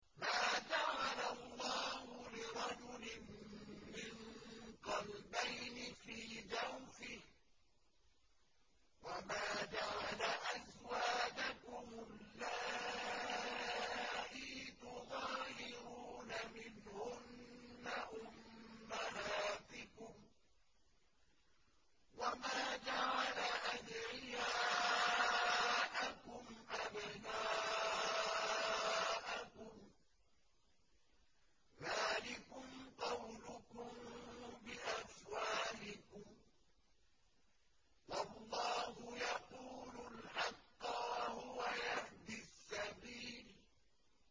مَّا جَعَلَ اللَّهُ لِرَجُلٍ مِّن قَلْبَيْنِ فِي جَوْفِهِ ۚ وَمَا جَعَلَ أَزْوَاجَكُمُ اللَّائِي تُظَاهِرُونَ مِنْهُنَّ أُمَّهَاتِكُمْ ۚ وَمَا جَعَلَ أَدْعِيَاءَكُمْ أَبْنَاءَكُمْ ۚ ذَٰلِكُمْ قَوْلُكُم بِأَفْوَاهِكُمْ ۖ وَاللَّهُ يَقُولُ الْحَقَّ وَهُوَ يَهْدِي السَّبِيلَ